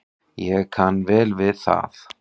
Ég kann vel við það.